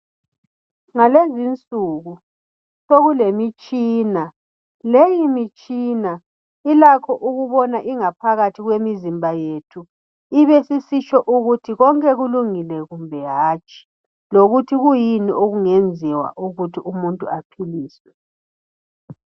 Ngalezinsuku sokulemitshina. Leyi mitshina ilakho ukubona ingaphakathi yemizimba yethu. Ibesisitsho ukuthi konke kulungile kumbe hatshi, lokuthi kuyini okungenziwa ukuthi umuntu aphiliswe.